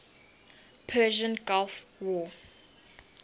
persian gulf war